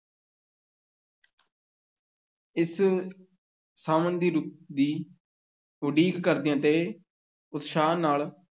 ਇਸ ਸਾਵਣ ਦੀ ਰੁੱਤ ਦੀ ਉੱਡੀਕ ਕਰਦੀਆਂ ਤੇ ਉਤਸ਼ਾਹ ਨਾਲ